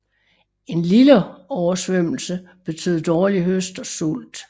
En lille oversvømmelse betød dårlig høst og sult